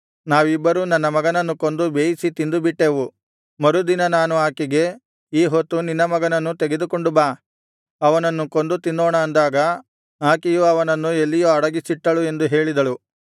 ನಾವಿಬ್ಬರೂ ನನ್ನ ಮಗನನ್ನು ಕೊಂದು ಬೇಯಿಸಿ ತಿಂದು ಬಿಟ್ಟೆವು ಮರುದಿನ ನಾನು ಆಕೆಗೆ ಈ ಹೊತ್ತು ನಿನ್ನ ಮಗನನ್ನು ತೆಗೆದುಕೊಂಡು ಬಾ ಅವನನ್ನು ಕೊಂದು ತಿನ್ನೋಣ ಅಂದಾಗ ಆಕೆಯು ಅವನನ್ನು ಎಲ್ಲಿಯೋ ಅಡಗಿಸಿಟ್ಟಳು ಎಂದು ಹೇಳಿದಳು